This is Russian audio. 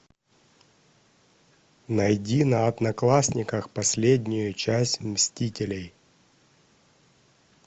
найди на одноклассниках последнюю часть мстителей